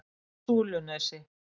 Súlunesi